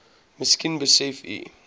miskien besef u